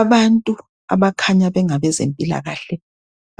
Abantu abakhanya bengabezempilakahle